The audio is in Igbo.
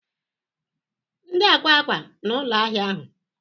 Ndi akwa akwa na ụlọ ahịa ahụ?